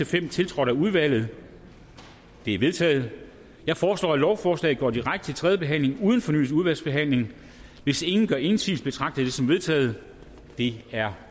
fem tiltrådt af udvalget de er vedtaget jeg foreslår at lovforslaget går direkte til tredje behandling uden fornyet udvalgsbehandling hvis ingen gør indsigelse betragter jeg det som vedtaget det er